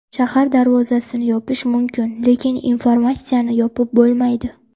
Shahar darvozasini yopish mumkin, lekin informatsiyani yopib bo‘lmaydi.